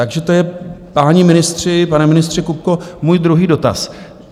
Takže to je, páni ministři, pane ministře Kupko, můj druhý dotaz.